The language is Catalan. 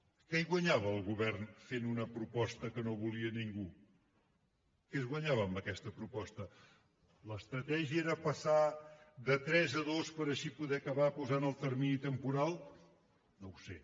què hi guanyava el govern fent una proposta que no volia ningú què es guanyava amb aquesta proposta l’estratègia era passar de tres a dos per així poder acabar posant el termini temporal no ho sé